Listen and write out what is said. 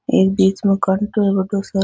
एक बिच में कांटों है बड़ो सा --